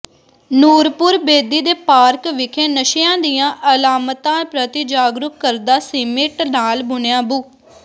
ਨੂਰਪੁਰ ਬੇਦੀ ਦੇ ਪਾਰਕ ਵਿਖੇ ਨਸ਼ਿਆਂ ਦੀਆਂ ਅਲਾਮਤਾਂ ਪ੍ਰਤੀ ਜਾਗਰੂਕ ਕਰਦਾ ਸੀਮਿੰਟ ਨਾਲ ਬਣਿਆ ਬੱੁ